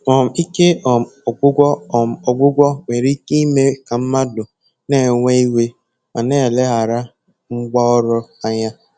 um Ike um ọgwụgwụ um ọgwụgwụ nwere ike ime ka mmadụ na-ewe iwe ma na-eleghara ngwá ọrụ anya.